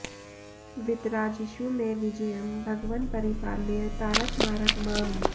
वितराजिषु मे विजयं भगवन् परिपालय तारक मारक माम्